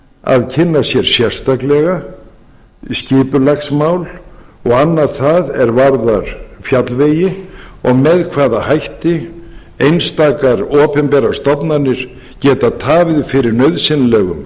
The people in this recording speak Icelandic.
að kynna sér sérstaklega skipulagsmál og annað það er varðar fjallvegi og með hvaða hætti einstakar opinberar stofnanir geta tafið fyrir nauðsynlegum